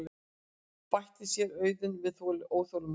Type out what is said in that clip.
bætti séra Auðunn við óþolinmóður.